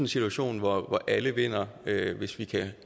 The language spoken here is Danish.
situation hvor alle vinder hvis vi kan